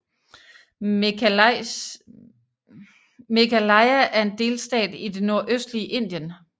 Meghalaya er en delstat i det nordøstlige indien